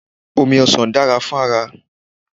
Omi ọsàn dára fún ara